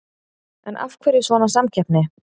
En af hverju svona samkeppni?